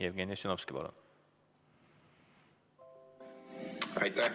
Jevgeni Ossinovski, palun!